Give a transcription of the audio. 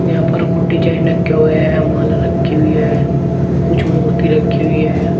यहां पर कुछ डिजाइन रखे हुए हैं माला रखी हुई है कुछ मूर्ति रखी हुई है।